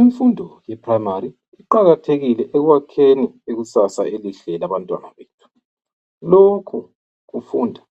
Imfundo e Primary iqakathekile ekwakheni ikusasa elihle labantwana bethu. Lokhu kufunda